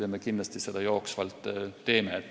Seda me kindlasti jooksvalt teeme.